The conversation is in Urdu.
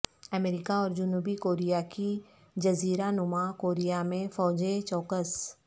امریکہ اور جنوبی کوریا کی جزیرہ نما کوریا میں فوجیں چوکس